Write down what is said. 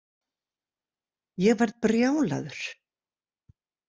Ég verð brjálaður.